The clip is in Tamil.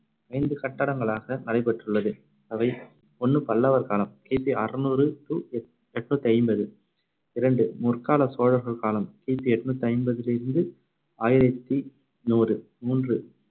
ஐந்து கட்டடங்களாக நடைபெற்றுள்ளது. அவை ஒண்ணு பல்லவர் காலம் கி பி அறுநூறு to எண்ணூத்தி ஐம்பது இரண்டு முற்கால சோழர்கள் காலம் கி பி எண்ணூத்தி ஐம்பதில் இருந்து ஆயிரத்தி நூறு மூன்று